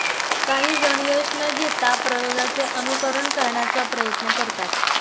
काही जण यश न घेता प्रयोगाचे अनुकरण करण्याचा प्रयत्न करतात